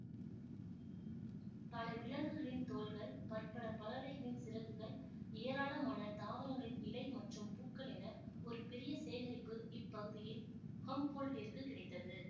பல விலங்குகளின் தோல்கள் பற்பல பறவைகளின் சிறகுகள் ஏராளமான தாவரங்களின் இலை மற்றும் பூக்கள் என ஒரு பெரிய சேகரிப்பு இப்பகுதியில் ஹம்போல்ட்டிற்குக் கிடைத்தது